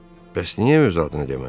Bəs niyə öz adını demədi?